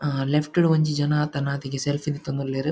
ಆ ಲೆಫ್ಟ್ ಡ್ ಒಂಜಿ ಜನ ತನ್ನಾತಿಗೆ ಸೆಲ್ಫಿ ದೆತ್ತೊಂದುಲ್ಲೆರ್.